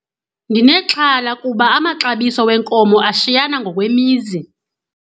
Ndinexhala kuba amaxabiso wenkomo ashiyana ngokwemizi.